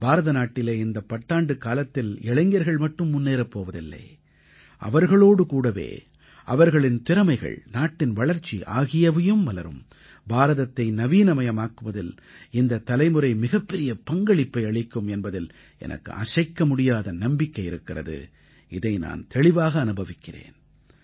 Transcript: பாரதநாட்டிலே இந்த பத்தாண்டுக்காலத்தில் இளைஞர்கள் மட்டும் முன்னேறப் போவதில்லை அவர்களோடு கூடவே அவர்களின் திறமைகள் நாட்டின் வளர்ச்சி ஆகியவையும் மலரும் பாரதத்தை நவீனமயமாக்குவதில் இந்தத் தலைமுறை மிகப்பெரிய பங்களிப்பை அளிக்கும் என்பதில் எனக்கு அசைக்க முடியாத நம்பிக்கை இருக்கிறது இதை நான் தெளிவாக அனுபவிக்கிறேன்